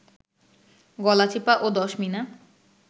গলাচিপা ও দশমিনা